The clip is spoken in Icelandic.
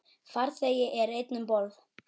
Farþegi er einn um borð.